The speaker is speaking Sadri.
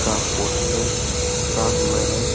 का पोस्टर चिपका हुआ है।